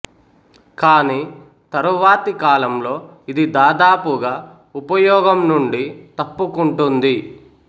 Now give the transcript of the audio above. కాని తరువాతి కాలంలో ఇది దాదాపుగా ఉపయోగం నుండి తప్పుకుంటుంది